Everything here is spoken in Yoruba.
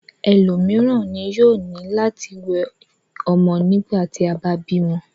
Élomiran ni yoo ni lati wẹ ọmọ nigbati aba bímọ